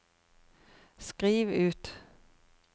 skriv ut